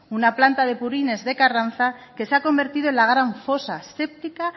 una plante de purines de carranza que se ha convertido en la gran fosa séptica